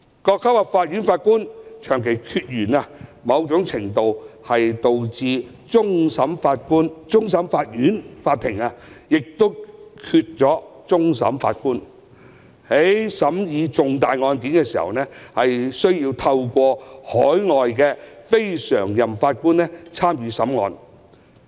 各級法院的法官長期缺員，某程度上導致終審法院欠缺法官，而令其在審議重大案件時，需要聘請海外非常任法官。